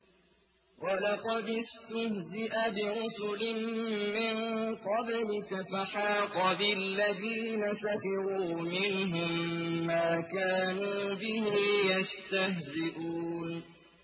وَلَقَدِ اسْتُهْزِئَ بِرُسُلٍ مِّن قَبْلِكَ فَحَاقَ بِالَّذِينَ سَخِرُوا مِنْهُم مَّا كَانُوا بِهِ يَسْتَهْزِئُونَ